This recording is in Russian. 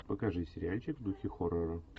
покажи сериальчик в духе хоррора